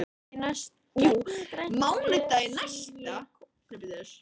Gegnum grænt rör sýg ég kók.